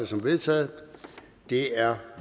som vedtaget det er